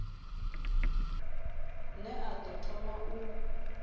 ne a ḓo thoma u